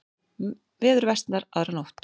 Veður versnar aðra nótt